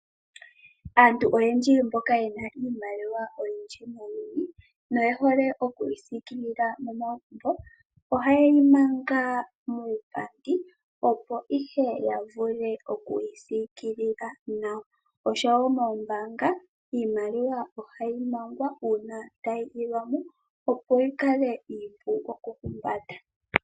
Aantu oyendji mboka yena iimaliwa oyindji nayi noyehole oku yi siikilila momagumbo, ohaye yi manga muupandi opo ihe ya vule oku yi siikila nawa. Oshowo moombanga iimaliwa ohayi mangwa uuna tayi ilwa mo, opo yi kale iipu okuhumbata.